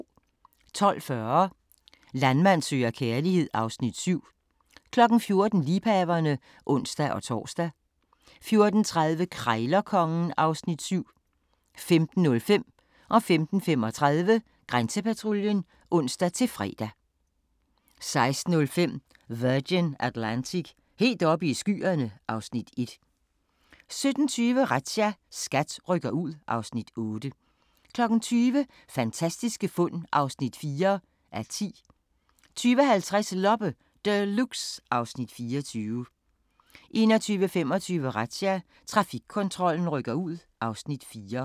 12:40: Landmand søger kærlighed (Afs. 7) 14:00: Liebhaverne (ons-tor) 14:30: Krejlerkongen (Afs. 7) 15:05: Grænsepatruljen (ons-fre) 15:35: Grænsepatruljen (ons-fre) 16:05: Virgin Atlantic – helt oppe i skyerne (Afs. 1) 17:20: Razzia – SKAT rykker ud (Afs. 8) 20:00: Fantastiske fund (4:10) 20:50: Loppe Deluxe (Afs. 24) 21:25: Razzia – Trafikkontrollen rykker ud (Afs. 4)